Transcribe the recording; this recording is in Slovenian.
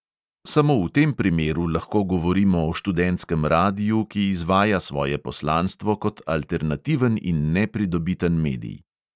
"Samo v tem primeru lahko govorimo o študentskem radiu, ki izvaja svoje poslanstvo kot alternativen in nepridobiten medij."